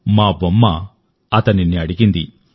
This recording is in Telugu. మా బొమ్మ కుమ్మరిని అడిగింది